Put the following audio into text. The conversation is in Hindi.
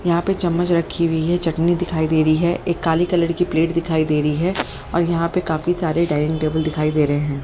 यहां पे चम्मच रखी हुई है चटनी दिखाई दे रही है एक काली कलर की प्लेट दिखाई दे रही है और यहां पे काफी सारे डाइनिंग टेबल दिखाई दे रहे हैं।